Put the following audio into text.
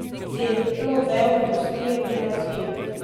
Celo vejo industrije bi razvili.